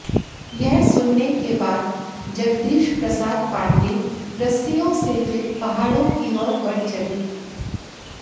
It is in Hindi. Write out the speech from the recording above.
यह सुनने के बाद जगदीश प्रसाद पांडेय रस्सियों से फिर पहाड़ों की ओर बढ़ चले